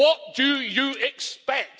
What do you expect